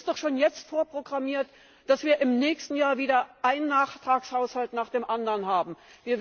Es ist doch jetzt schon vorprogrammiert, dass wir im nächsten Jahr wieder einen Nachtragshaushalt nach dem anderen haben werden.